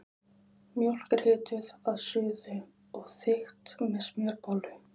Mjólk er hituð að suðu og þykkt með smjörbollu.